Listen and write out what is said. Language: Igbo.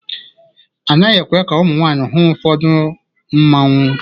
A naghị ekwe ka ụmụ nwanyị hụ ụfọdụ Mmanwu.